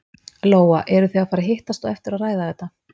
Lóa: Eru þið að fara að hittast á eftir og ræða þetta?